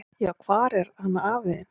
"""Já, hvar er hann afi þinn?"""